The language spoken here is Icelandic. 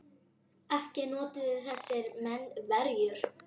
Ekki notuðu þessir menn verjur.